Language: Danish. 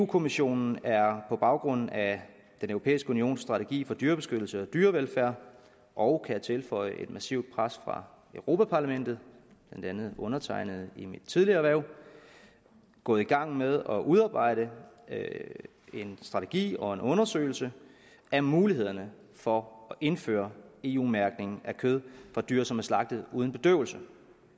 kommissionen er på baggrund af den europæiske unions strategi for dyrebeskyttelse og dyrevelfærd og jeg tilføje et massivt pres fra europa parlamentet blandt andet undertegnede i mit tidligere erhverv gået i gang med at udarbejde en strategi og en undersøgelse af mulighederne for at indføre eu mærkning af kød fra dyr som er slagtet uden bedøvelse